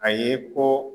A ye ko